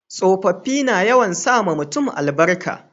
tsofaffi na yawan sa ma mutum albarka